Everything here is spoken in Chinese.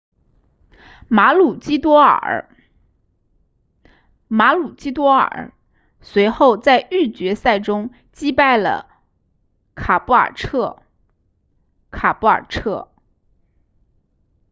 马鲁基多尔 maroochydore 随后在预决赛中击败了卡布尔彻 caboolture